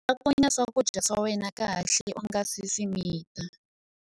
Cakunya swakudya swa wena kahle u nga si swi mita.